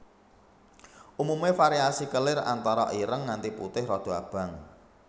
Umume variasi kelir antara ireng nganti putih rada abang